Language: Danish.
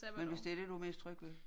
Men hvis det det du mest tryg ved